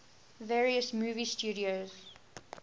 various movie studios